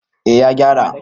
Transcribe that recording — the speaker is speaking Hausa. eh ya gyara